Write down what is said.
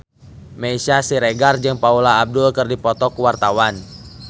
Meisya Siregar jeung Paula Abdul keur dipoto ku wartawan